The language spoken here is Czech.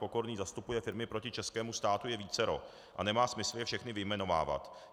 Pokorný zastupuje firmy proti českému státu, je vícero a nemá smysl je všechny vyjmenovávat.